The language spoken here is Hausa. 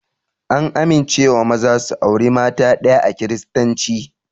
An amincewa maza su aure mata ɗaya a kiristanci